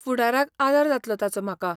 फुडाराक आदार जातलो ताचो म्हाका.